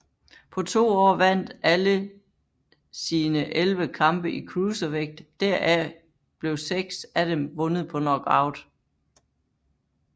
På to år vandt alle sine 11 kampe i cruiservægt deraf blev seks af dem vundet på knockout